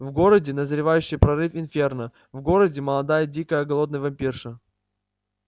в городе назревающий прорыв инферно в городе молодая дикая голодная вампирша